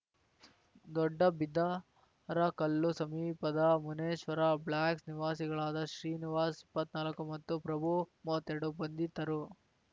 ದೊಡ್ಡಬಿದರಕಲ್ಲು ಸಮೀಪದ ಮುನೇಶ್ವರ ಬ್ಲಾಕ್‌ ನಿವಾಸಿಗಳಾದ ಶ್ರೀನಿವಾಸ್‌ಇಪ್ಪತ್ನಾಲ್ಕು ಮತ್ತು ಪ್ರಭುಮೂವತ್ತೆರಡು ಬಂಧಿತರು